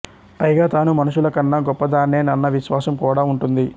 పైగా తాను మనుషుల కన్నా గొప్పదాన్నేనన్న విశ్వాసం కూడా ఉంటుంది